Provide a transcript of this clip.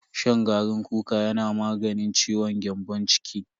Shan garin kuka yana maganin ciwon gyambon ciki.